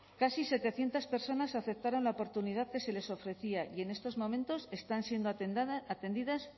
casi setecientos personas aceptaran la oportunidad que se les ofrecía y en estos momentos están siendo atendidas